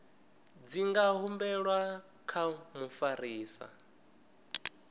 dzi nga humbelwa kha mufarisa